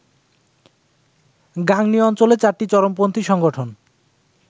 গাংনী অঞ্চলে ৪টি চরমপন্থী সংগঠন